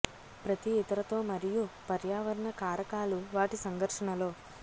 ప్రతి ఇతర తో మరియు పర్యావరణ కారకాలు వాటి సంకర్షణ లో